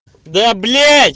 да блядь